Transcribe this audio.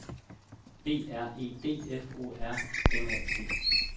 B R E D F O R M A T